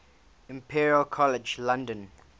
imperial college london